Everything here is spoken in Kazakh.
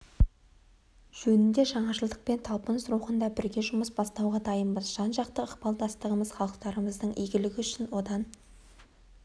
жөнінде жаңашылдық пен талпыныс рухында бірге жұмыс бастауға дайынбыз жан-жақты ықпалдастығымыз халықтарымыздың игілігі үшін одан